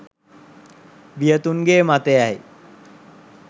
වියතුන්ගේ මතයයි.